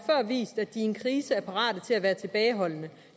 vist at de i en krise er parate til at være tilbageholdende